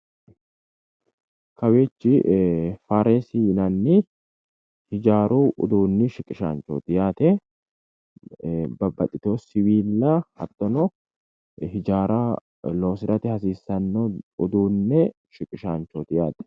Kawiichi fareesi yinanni hijaaru uduunni shiqishanchooti yaate babbaxxiteyo siwiilla hattono hijaara loosirate hasiissanno uduunne shiqishanchooti yaate